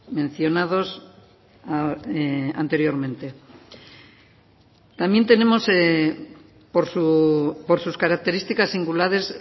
mencionados anteriormente también tenemos por sus características singulares